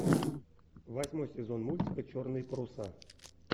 восьмой сезон мультика черные паруса